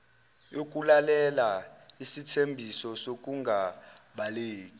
yokulalela isithembiso sokungabaleki